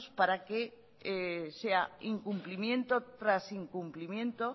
para que sea incumplimiento tras incumplimiento